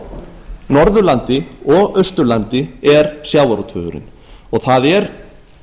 á norðurlandi og austurlandi er sjávarútvegurinn og það er